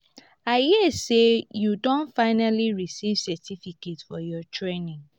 i hear say you don finally receive certificate for your training